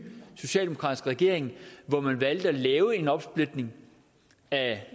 socialdemokratiske regering hvor man valgte at lave en opsplitning af